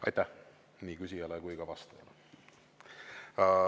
Aitäh nii küsijale kui ka vastajale!